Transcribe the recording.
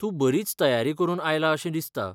तूं बरीच तयारी करून आयला अशें दिसता.